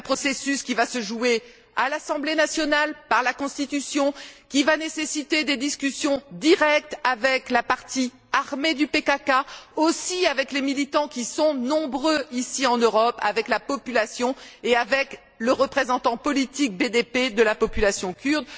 C'est un processus qui va se jouer à l'assemblée nationale, par la Constitution, et qui va nécessiter des discussions directes, avec la partie armée du PKK, avec les militants qui sont nombreux, ici en Europe, avec la population et avec le représentant politique BDP de la population kurde.